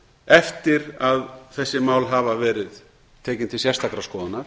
eftir að þessi mál hafa verið tekin til sérstakrar skoðunar